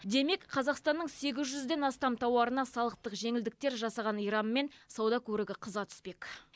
демек қазақстанның сегіз жүзден астам тауарына салықтық жеңілдіктер жасаған иранмен сауда көрігі қыза түспек